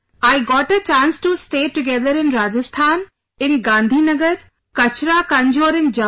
I got a chance to stay together in Rajasthan, in Gandhi Nagar, Kachra Kanjhor in Jammu